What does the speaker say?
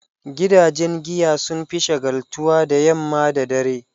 Gidajen giya sun fi shagaltuwa da yamma da dare.